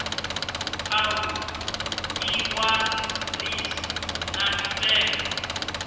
a vhuḓi ṅwalisi na mitengo